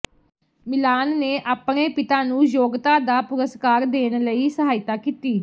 ਮਿਲਾਨ ਨੇ ਆਪਣੇ ਪਿਤਾ ਨੂੰ ਯੋਗਤਾ ਦਾ ਪੁਰਸਕਾਰ ਦੇਣ ਲਈ ਸਹਾਇਤਾ ਕੀਤੀ